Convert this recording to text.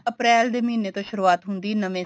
ਅਪ੍ਰੇਲ ਦੇ ਮਹੀਨੇ ਤੋਂ ਸ਼ੁਰਵਾਤ ਹੁੰਦੀ ਏ ਨਵੇ